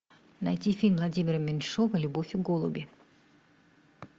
найти фильм владимира меньшова любовь и голуби